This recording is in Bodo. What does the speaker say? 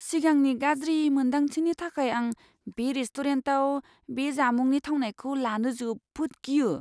सिगांनि गाज्रि मोन्दांथिनि थाखाय आं बे रेस्टुरेन्टाव बे जामुंनि थावनायखौ लानो जोबोद गियो!